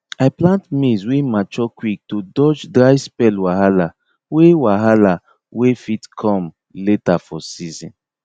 i plant maize wey mature quick to dodge dry spell wahala wey wahala wey fit come later for season